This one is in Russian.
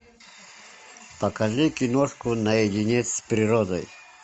покажи киношку наедине с природой